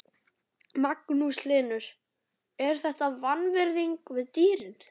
Magnús Hlynur: Er þetta vanvirðing við dýrin?